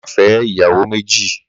Má fè̩ é̩ ìyàwó méjì!